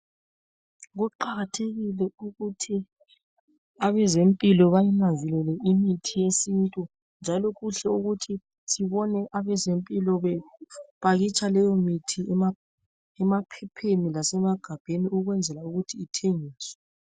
Kuqakathekile ukuthi abezempilo bayinanzelele imithi yesintu njalo kuhle ukuthi sibone abezempilo bepakitsha leyomithi emaphepheni lasemagabheni ukuthi ithengiswe.